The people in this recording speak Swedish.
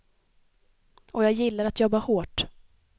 Och jag gillar att jobba hårt.